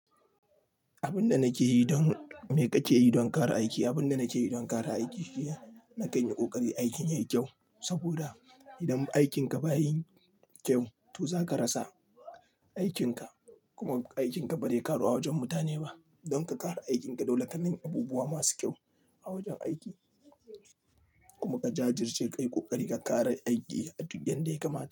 Abin da nake yi don me kake yi don ƙara aiki? Abin da nake yi don ƙara aiki shine na kai ni ƙoƙari aikin yayi kyau. Saboda idan aikin ka baya yin kyau, to za ka rasa aikin ka kuma aikin ka ba zai ƙaru a wajen mutane ba. Don ka ƙara aikin ka, dole ka nemi abubuwa masu kyau a wajen aiki kuma ka jajirce kai, ƙoƙari ka ƙara aiki yadda ya kamata.